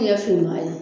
Ɲɛ finman ye